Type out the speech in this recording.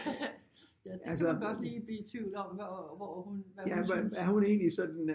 Ja det kan man godt lige blive i tvivl om hvor hun hvad hun synes